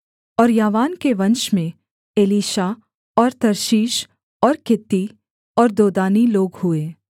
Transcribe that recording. और यावान के वंश में एलीशा और तर्शीश और कित्ती और दोदानी लोग हुए